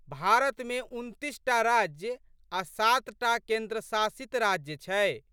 भारतमे उनतीसटा राज्य आ' सातटा केन्द्र शासित राज्य छै।